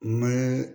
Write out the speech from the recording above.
Mɛ